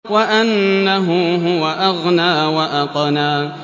وَأَنَّهُ هُوَ أَغْنَىٰ وَأَقْنَىٰ